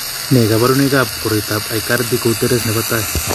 Nee kabarunoikab koroitoab Aicardi Goutieres nebo tai?